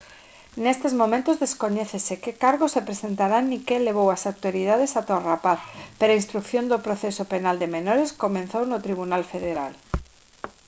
nestes momentos descoñécese que cargos se presentarán nin que levou ás autoridades ata o rapaz pero a instrución do proceso penal de menores comezou no tribunal federal